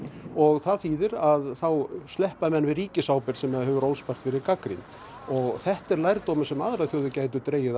og það þýðir að þá sleppa menn við ríkisábyrgð sem hefur óspart verið gagnrýnd og þetta er lærdómur sem aðrar þjóðir gætu dregið af